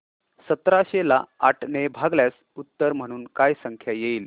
सतराशे ला आठ ने भागल्यास उत्तर म्हणून काय संख्या येईल